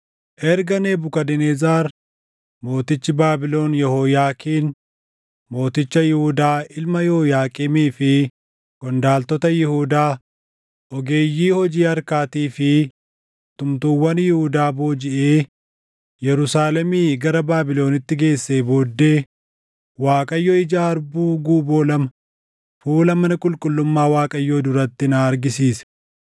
Erga Nebukadnezar mootichi Baabilon Yehooyaakiin mooticha Yihuudaa ilma Yehooyaaqiimii fi qondaaltota Yihuudaa, ogeeyyii hojii harkaatii fi tumtuuwwan Yihuudaa boojiʼee Yerusaalemii gara Baabilonitti geessee booddee Waaqayyo ija harbuu guuboo lama fuula mana qulqullummaa Waaqayyoo duratti na argisiise.